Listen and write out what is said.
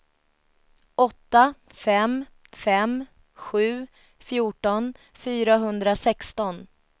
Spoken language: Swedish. åtta fem fem sju fjorton fyrahundrasexton